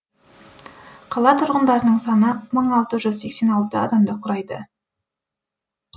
қала тұрғындарының саны мың алты жүз сексен алты адамды құрайды